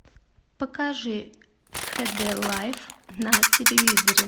покажи хд лайф на телевизоре